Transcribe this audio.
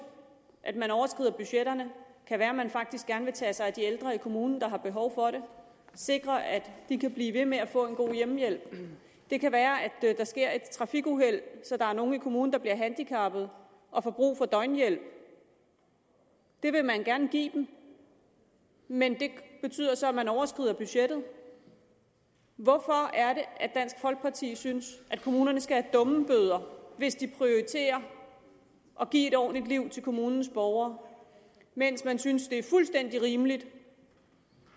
at man overskrider budgetterne kan være at man faktisk gerne vil tage sig af de ældre i kommunen der har behov for det sikre at de kan blive ved med at få en god hjemmehjælp det kan være at der sker et trafikuheld så der er nogen i kommunen der bliver handicappet og får brug for døgnhjælp og det vil man gerne give dem men det betyder så at man overskrider budgettet hvorfor er det at dansk folkeparti synes at kommunerne skal have dummebøder hvis de prioriterer at give et ordentligt liv til kommunens borgere mens man synes det er fuldstændig rimeligt